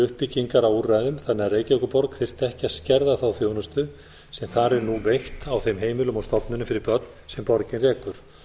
uppbyggingar á úrræðum þannig að reykjavíkurborg þyrfti ekki að skerða þá þjónustu sem þar er nú veitt á þeim heimilum og stofnunum fyrir börn sem borgin rekur